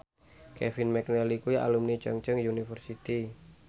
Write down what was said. Kevin McNally kuwi alumni Chungceong University